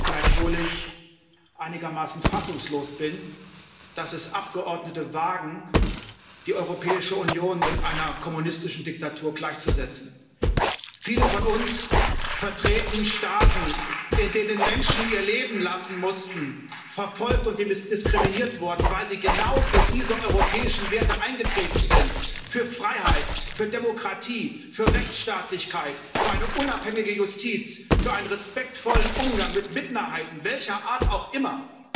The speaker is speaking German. Gleichwohl bin ich einigermaßen fassungslos, dass es Abgeordnete wagen, die Europäische Union mit einer kommunistischen Diktatur gleichzusetzen. Viele von uns vertreten Staaten, in denen Menschen ihr Leben lassen mussten, verfolgt und diskriminiert wurden, weil sie genau für diese europäischen Werte eingetreten sind für Freiheit, für Demokratie, für Rechtsstaatlichkeit, für eine unabhängige Justiz, für einen respektvollen Umgang mit Minderheiten welcher Art auch immer.